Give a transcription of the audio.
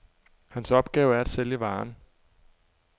Hans opgave er at sælge varen.